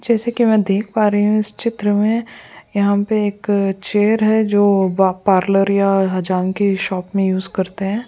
जैसे कि मैं देख पा रही हूं इस चित्र में यहां पे एक अ चेयर है जो पार्लर या हजाम की शॉप में यूज करते हैं।